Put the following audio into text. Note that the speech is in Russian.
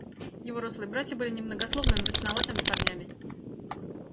его рослые братья были немногословными мрачноватыми парнями